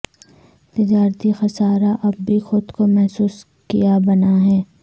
تجارتی خسارہ اب بھی خود کو محسوس کیا بنا ہے